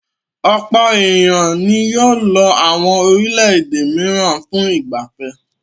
Ọ̀pọ̀ ènìyàn ni yóò lọ àwọn orílẹ̀-èdè mìíràn fún ìgbà fẹ́.